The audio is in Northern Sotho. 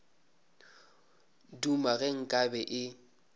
duma ge nka be e